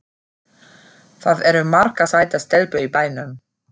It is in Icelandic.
Það eru margar sætar stelpur í bænum.